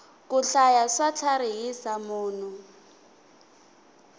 ku hlaya swa tlharihisa munhu